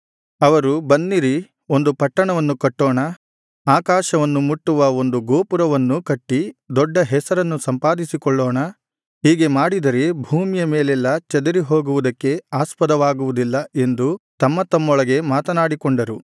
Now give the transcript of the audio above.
ಅವರು ಬನ್ನಿರಿ ಒಂದು ಪಟ್ಟಣವನ್ನು ಕಟ್ಟೋಣ ಆಕಾಶವನ್ನು ಮುಟ್ಟುವ ಒಂದು ಗೋಪುರವನ್ನೂ ಕಟ್ಟಿ ದೊಡ್ಡ ಹೆಸರನ್ನು ಸಂಪಾದಿಸಿಕೊಳ್ಳೋಣ ಹೀಗೆ ಮಾಡಿದರೆ ಭೂಮಿಯ ಮೇಲೆಲ್ಲಾ ಚದರಿಹೋಗುವುದಕ್ಕೆ ಆಸ್ಪದವಾಗುವುದಿಲ್ಲ ಎಂದು ತಮ್ಮತಮ್ಮೊಳಗೆ ಮಾತನಾಡಿಕೊಂಡರು